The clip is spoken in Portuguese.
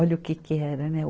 Olha o que que era, né? o